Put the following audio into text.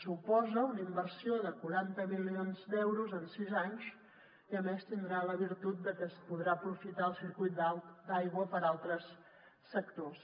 suposa una inversió de quaranta milions d’euros en sis anys i a més tindrà la virtut de que es podrà aprofitar el circuit d’aigua per a altres sectors